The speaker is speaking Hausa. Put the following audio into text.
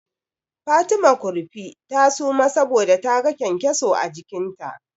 Fatima Kurfi ta suma saboda taga kyankyaso a jikinta.